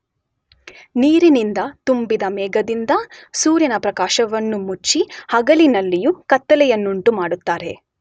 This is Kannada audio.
ನೀರಿನಿಂದ ತುಂಬಿದ ಮೇಘದಿಂದ ಸೂರ್ಯನ ಪ್ರಕಾಶವನ್ನು ಮುಚ್ಚಿ ಹಗಲಿನಲ್ಲಿಯೂ ಕತ್ತಲೆಯನ್ನುಂಟು ಮಾಡುತ್ತಾರೆ.